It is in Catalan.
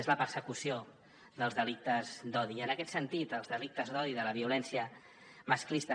és la persecució dels delictes d’odi i en aquest sentit els delictes d’odi de la violència masclista